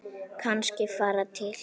Kannski fara til